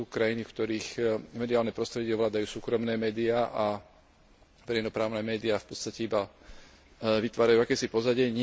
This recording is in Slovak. Sú krajiny, v ktorých mediálne prostredie ovládajú súkromné médiá a verejnoprávne médiá v podstate iba vytvárajú akési pozadie.